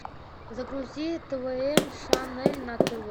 загрузи твм шанель на тв